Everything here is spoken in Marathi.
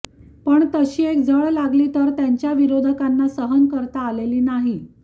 पण तशी एक झळ लागली तर त्यांच्या विरोधकांना सहन करता आलेली नाही